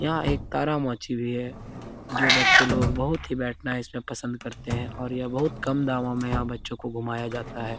यहाँ एक तारामांझी भी है जो बच्चे लोग बहुत ही बैठना इसमें पसंद करते हैं और यह बहुत कम दामो में यहाँ बच्चो को घुमाया जाता है।